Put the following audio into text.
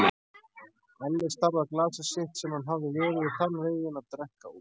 Alli starði á glasið sitt sem hann hafði verið í þann veginn að drekka úr.